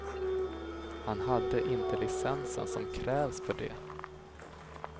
Han hade inte licensen som krävs för det.